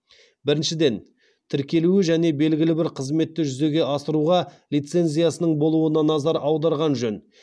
біріншеден тіркелуі және белгілі бір қызметті жүзеге асыруға лицензиясының болуына назар аударған жөн